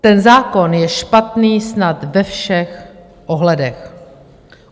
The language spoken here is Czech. Ten zákon je špatný snad ve všech ohledech.